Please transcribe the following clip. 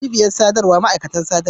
cibiyar sadarwa ma'aikatan sadarwa